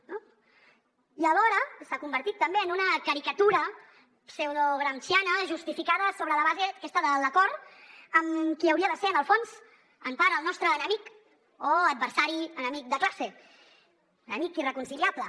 i alhora s’ha convertit també en una caricatura pseudogramsciana justificada sobre la base aquesta de l’acord amb qui hauria de ser en el fons en part el nostre enemic o adversari enemic de classe un amic irreconciliable